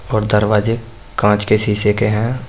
और दरवाजे कांच के शीशे के हैं।